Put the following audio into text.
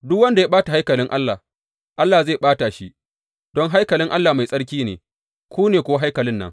Duk wanda ya ɓata haikalin Allah, Allah zai ɓata shi, don haikalin Allah mai tsarki ne, ku ne kuwa haikalin nan.